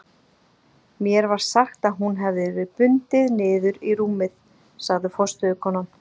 Mér var sagt að hún hefði verið bundin niður í rúmið, sagði forstöðukonan.